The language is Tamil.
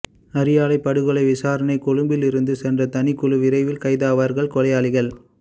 அரியாலைப் படுகொலை விசாரணை கொழும்பிலிருந்து சென்றது தனிக்குழு விரைவில் கைதாவார்கள் கொலையாளிகள்